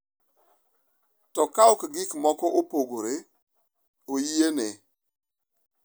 To kauok gik moko opogore, oyiene.